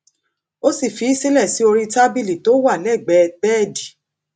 ó sì fi í sílẹ sí orí tábìlì tó wà lẹgbẹẹ bẹẹdì